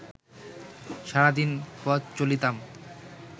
sardine পথ চলিতাম